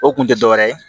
O kun tɛ dɔwɛrɛ ye